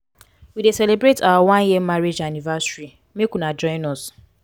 we dey celebrate our one year marriage anniversary make una join us.